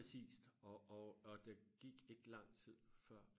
præcis og og og der gik ikke lang tid før